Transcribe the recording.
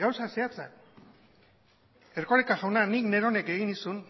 gauza zehatzak erkoreka jauna nik neronek egin nizun